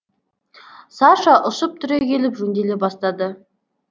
саша ұшып түрегеліп жөнделе бастады